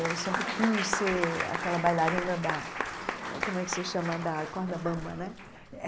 Eu sempre quis ser aquela bailarina da hum como é que se chama da corda bamba né.